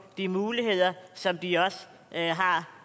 de muligheder som de også har